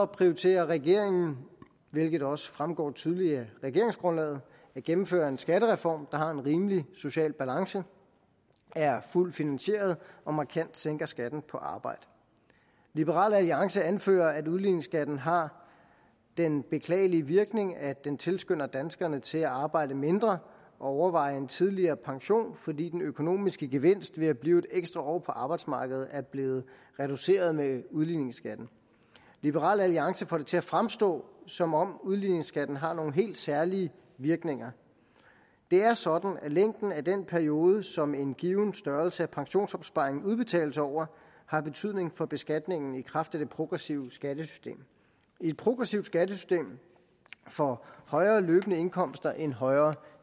prioriterer regeringen hvilket også fremgår tydeligt af regeringsgrundlaget at gennemføre en skattereform der har en rimelig social balance er fuldt finansieret og markant sænker skatten på arbejde liberal alliance anfører at udligningsskatten har den beklagelige virkning at den tilskynder danskerne til at arbejde mindre og overveje en tidligere pension fordi den økonomiske gevinst ved at blive et ekstra år på arbejdsmarkedet er blev reduceret med udligningsskatten liberal alliance får det til at fremstå som om udligningsskatten har nogle helt særlige virkninger det er sådan at længden af den periode som en given størrelse af pensionsopsparing udbetales over har betydning for beskatningen i kraft af det progressive skattesystem i et progressivt skattesystem får højere løbende indkomster en højere